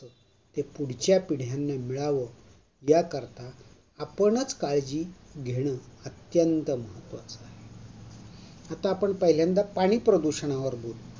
ते पुढच्या पिढ्यांने मिळाव याकरता आपणच काळजी घेण अत्यंत महत्वाच आहे. आता आपण पहिल्यांदा पाणी प्रदूषणावर बोलू